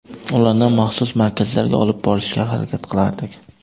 Ularni maxsus markazlarga olib borishga harakat qilardik.